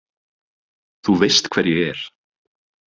Þú veist hver ég er